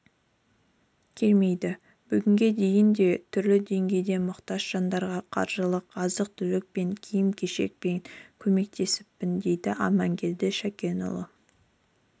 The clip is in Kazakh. келмейді бүгінге дейін де түрлі деңгейде мұқтаж жандарға қаржылай азық-түлікпен киім-кешекпен көмектесіппін дейді амангелді шакенұлы